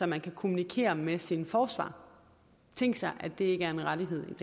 man kan kommunikere med sin forsvarer tænk sig at det ikke er en rettighed